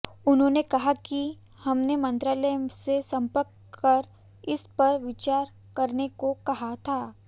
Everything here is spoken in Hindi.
उन्होंने कहा कि हमने मंत्रालय से संपर्क कर इस पर विचार करने को कहा था